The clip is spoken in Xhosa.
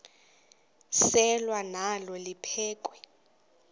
selwa nalo liphekhwe